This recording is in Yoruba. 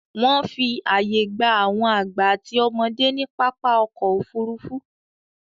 Wọ́n fi àyè gba àwọn àgbà àti ọmọdé ní pápá ọkọ̀-òfurufú.